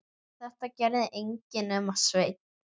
Þetta gerði enginn nema Sveinn.